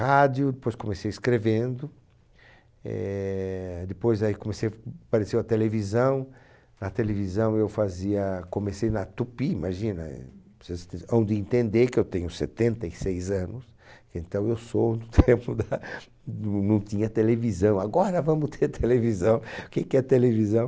rádio, depois comecei escrevendo, eh, depois aí comecei, apareceu a televisão, na televisão eu fazia, comecei na tupi, imagina eh, vocês hão de entender que eu tenho setenta e seis anos, então eu sou do tempo da, do não tinha televisão, agora vamos ter televisão, que que é televisão?